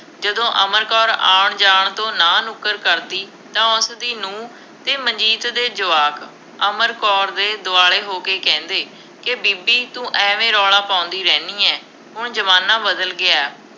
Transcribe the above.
ਜਦੋਂ ਅਮਰ ਕੌਰ ਆਉਣ ਜਾਣ ਤੋਂ ਨਾਂਹ ਨੁੱਕਰ ਕਰਦੀ ਤਾਂ ਉਸਦੀ ਨੂੰਹ ਅਤੇ ਮਨਜੀਤ ਦੇ ਜਵਾਕ, ਅਮਰ ਕੌਰ ਦੇ ਦੁਆਲੇ ਹੋ ਕੇ ਕਹਿੰਦੇ, ਕਿ ਬੀਬੀ ਤੂੰ ਐਵੇਂ ਰੌਲਾ ਪਾਉਂਦੀ ਰਹਿੰਦੀ ਹੈ, ਹੁਣ ਜ਼ਮਾਨਾ ਬਦਲ ਗਿਆ।